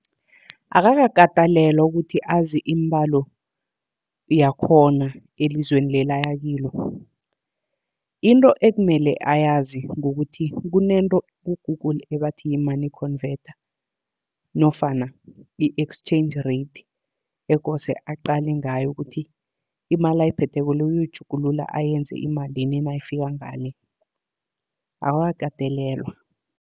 Akakakatelelwa ukuthi azi iimbalo yakhona elizweni leli aya kilo. Into ekumele ayazi kukuthi kunento ku-Google ebathi yi-money convertor nofana i-exchange rate, ekose aqale ngayo kuthi imali ayiphetheko le uyoyitjhugulula ayenze imalini nayifika ngale, akakakatelelwa.